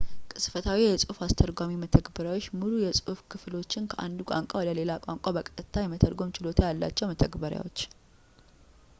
ቅጽበታዊ የጽሑፍ አስተርጓሚ መተግበሪያዎች ሙሉ የጽሑፍ ክፍሎችን ከአንድ ቋንቋ ወደ ሌላ ቋንቋ በቀጥታ የመተርጎም ችሎታ ያላቸው መተግበሪያዎች